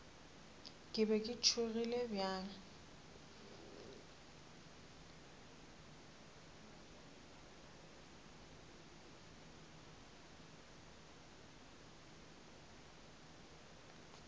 ke be ke tšhogile bjang